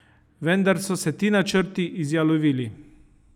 Vendar so se ti načrti izjalovili.